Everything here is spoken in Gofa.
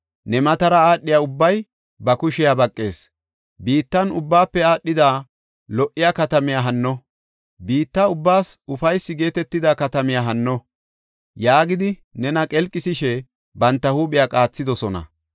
Ne matara aadhiya ubbay ba kushiya baqees; “Biittan ubbaafe aadhada lo77iya katamiya hanno? Biitta ubbaas ufaysi geetetida katamiya hanno?” yaagidi nena qelqisishe banta huuphiya qaathidosona.